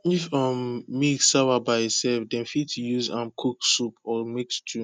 if um milk sawa by itself dem fit use am cook soup or make stew